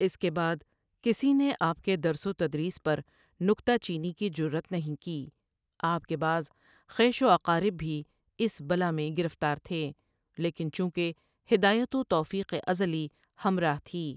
اس کے بعد کسی نے آپ کے درس و تدریس پر نکتہ چینی کی جرات نہیں کی آپ کے بعض خویش و اقارب بھی اس بلا میں گرفتار تھے لیکن چونکہ ہدایت و توفیق ازلی ہمراہ تھی ۔